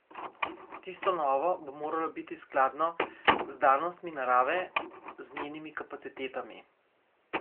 Tisto novo bo moralo biti skladno z danostmi narave, z njenimi kapacitetami.